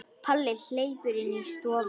Palli hleypur inn í stofu.